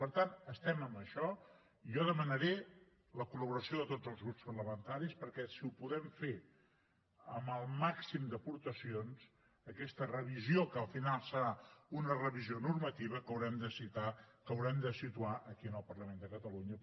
per tant estem en això i jo demanaré la col·laboració de tots els grups parlamentaris perquè si la podem fer amb el màxim d’aportacions aquesta revisió que al final serà una revisió normativa que haurem de situar aquí en el parlament de catalunya